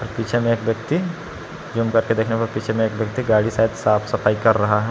पीछे में एक व्यक्ति जूम करके देखने में पीछे में एक व्यक्ति गाड़ी शायद साफ सफाई कर रहा है।